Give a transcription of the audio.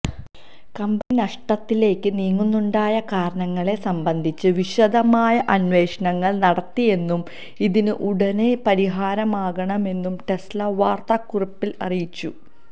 company നഷ്ടത്തിലേക്ക് നീങ്ങാനുണ്ടായ കാരണങ്ങളെ സംബന്ധിച്ച് വിശദമായ അന്വേഷണങ്ങള് നടത്തിയെന്നും ഇതിന് ഉടന് പരാഹാരമാകുമെന്നും ടെസ്ല വാര്ത്താക്കുറിപ്പില് അറിയിച്ചു